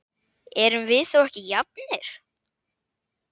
Erum við þá ekki jafnir?